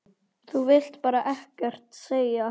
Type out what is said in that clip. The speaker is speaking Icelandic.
Þú vilt bara ekkert segja.